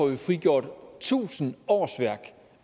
vi frigjort tusind årsværk